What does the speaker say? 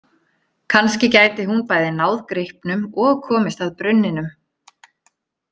Kannski gæti hún bæði náð gripnum og komist að brunninum.